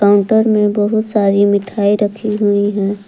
Counter में बहुत सारी मिठाई रखी हुई हैं।